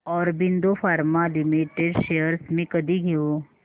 Aurobindo pharma limited shares मी कधी घेऊ